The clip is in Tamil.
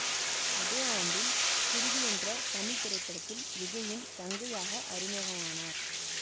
அதே ஆண்டில் குருவி என்ற தமிழ் திரைப்படத்தில் விஜய்யின் தங்கையாக அறிமுகமானார்